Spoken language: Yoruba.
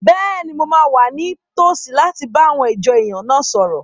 Bẹ́ẹ̀ni, mo máa wà ní tòsí láti bá àwọn ìjọ èèyàn náà sọ̀rọ̀